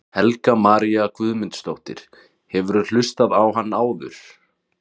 Helga María Guðmundsdóttir: Hefurðu hlustað á hann áður?